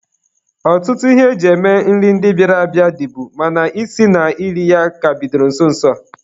Ọtụtụ ihe e ji eme nri ndịa bịara abịa, dịbu mana isi na iri ya ka bidoro nso nso a.